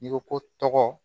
I ko ko tɔgɔ